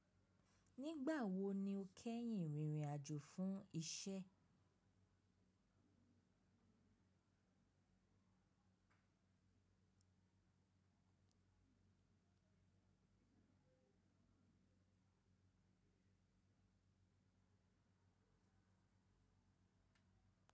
Nígbà wo ni o kẹ́yìn rìnrìn àjò fún iṣẹ́?